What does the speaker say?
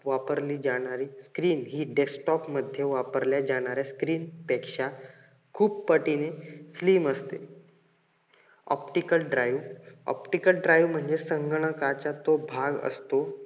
वापरली जाणारी screen हि desktop मध्ये वापरल्या जाणाऱ्या screen पेक्ष्या खूप पटीने slim असते. optical drive, optical drive म्हणजे संगणकाचा तो भाग असतो.